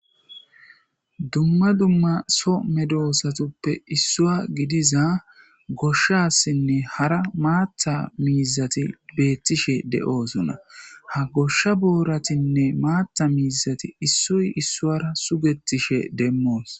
dumma dumma so medoosatuppe issuwa gidiza goshshassinne hara maatha miizati beettishe de7oosona ha goshsha booratinne maatha miizati issoy issuwara sugethishe demmoos.